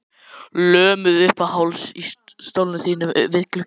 Lömuð uppað hálsi í stólnum þínum við gluggann.